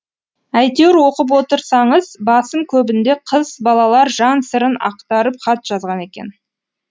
әйтеуір оқып отырсаңыз басым көбінде қыз балалар жан сырын ақтарып хат жазған екен